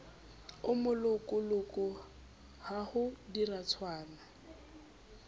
o molokoloko ha ho diratswana